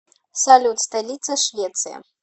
салют столица швеция